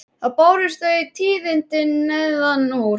Þá bárust þau tíðindi neðan úr